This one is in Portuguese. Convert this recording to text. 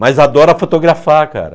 Mas adora fotografar, cara.